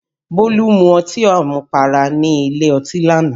Bólú mu ọtí àmupara nílé ọtí lánàá